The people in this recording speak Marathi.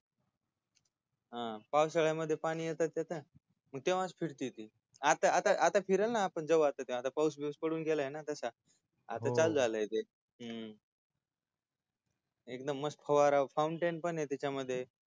पावसाळ्यामध्ये पाणी येत तिथे तेव्हाच फिरते ती आता फिरण ना आपण जाऊ आता तेव्हा आता पाऊस बिऊस पडून गेलाय ना तसा हो आता चालू ते हूं एकदम म्सत फवारा फाऊंटेन पणय त्याच्यामध्ये